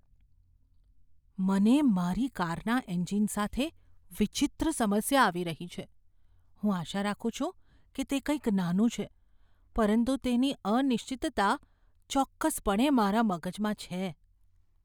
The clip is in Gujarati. મને મારી કારના એન્જિન સાથે વિચિત્ર સમસ્યા આવી રહી છે. હું આશા રાખું છું કે તે કંઈક નાનું છે, પરંતુ તેની અનિશ્ચિતતા ચોક્કસપણે મારા મગજમાં છે.